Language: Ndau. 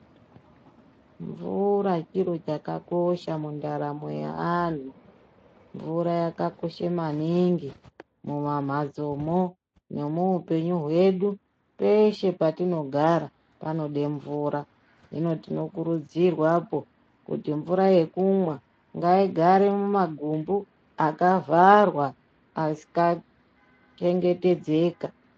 Mvura chiro chakakosha mundaramo yeantu. Mvura yakakosha maningi mumamhatso mwo nemuhupenyu hwedu peshe petinogara panode mvura. Hino tinokurudzirwa kuti mvura yekumwa ngaigare mumagumbu akavhara akachengetedzeka.